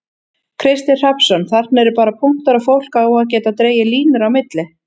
Kristinn Hrafnsson: Þarna eru bara punktar og fólk á að geta dregið línur á milli?